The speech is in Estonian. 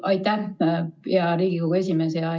Aitäh, hea Riigikogu esimees!